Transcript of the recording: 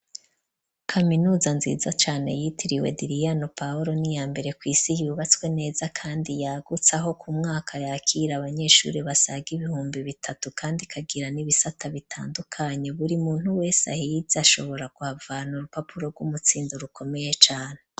Kaminuza, nziza cane, yitiriwe "Diriyano Paholo", ni iya mbere kw'isi, yubatswe neza, kandi yagutse; aho ku mwaka, yakira abanyeshuri, basaga ibihumbi bitatu, kandi, ikagira n'ibisata, bitandukanye; buri muntu wese ahise, ashobora kuhavana, urupapuro rw'umutsindo, rukomeye cane.